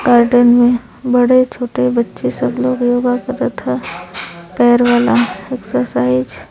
Garden में बड़े छोटे बच्चे सब लोग योगा करत ह। पैर वाला एक्सरसाइज --